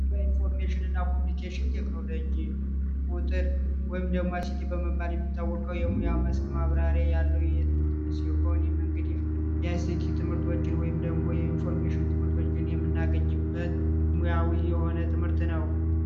በኢንፎርሜሽንና ኮሙኒኬሽን ቴክኖሎጂ ቁጥር ወይም ደግሞ በመባል የሚታወቀው የሙያ ማብራሪያ ያለው የትምህርት የሆኑ መንገድ ትምህርቶችን ወይም ደግሞ የኢንፎርሜሽን የምናገኝበት ሙያዊ የሆነ ትምህርት ነው